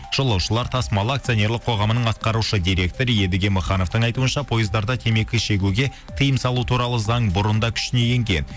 жолаушылар тасымалы акционерлерік қоғамының атқарушы директор едіге махановтың айтуынша пойыздарда темекі шегуге тиым салу туралы заң бұрында күшіне енген